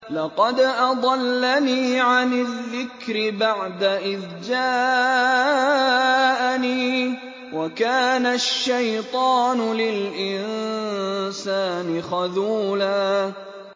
لَّقَدْ أَضَلَّنِي عَنِ الذِّكْرِ بَعْدَ إِذْ جَاءَنِي ۗ وَكَانَ الشَّيْطَانُ لِلْإِنسَانِ خَذُولًا